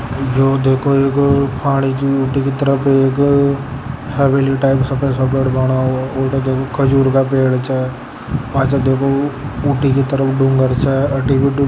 जो देखो एगो पानी की तरफ एक हवेली टाइप सफ़ेद सफ़ेद बड़ा हुआ और खजूर का पेड़ छ पाछे देखो ऊटी की तरफ डूंगर छ --